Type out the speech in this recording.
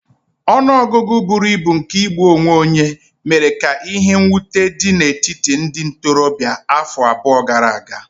Ọnụ ọgụgụ buru ibu nke igbu onwe onye mere ka ihe mwute dị n'etiti ndị ntorobịa afọ abụọ gara aga.